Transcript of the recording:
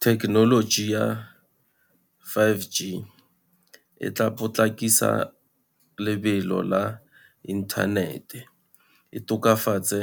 Thekenoloji ya five G, e tla potlakisa lebelo la inthanete, e tokafatse